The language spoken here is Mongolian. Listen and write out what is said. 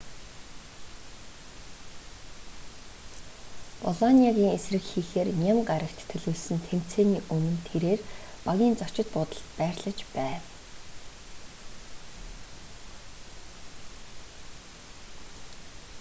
болониагийн эсрэг хийхээр ням гарагт төлөвлөсөн тэмцээний өмнө тэрээр багийн зочид буудалд байрлаж байв